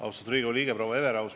Austatud Riigikogu liige proua Everaus!